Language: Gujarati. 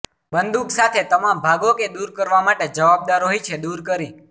બંદૂક સાથે તમામ ભાગો કે દૂર કરવા માટે જવાબદાર હોય છે દૂર કરી